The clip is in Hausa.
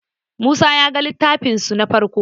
musa ya ga littafin su na farko